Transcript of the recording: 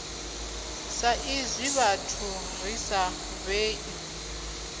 saizwi vhathu ri sa vhei